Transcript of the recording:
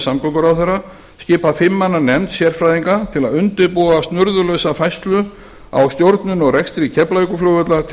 samgönguráðherra skipa fimm manna nefnd sérfræðinga til að undirbúa snurðulausa færslu á stjórnun og rekstri keflavíkurflugvallar til